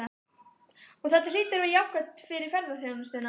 Og þetta hlýtur að vera jákvætt fyrir ferðaþjónustuna?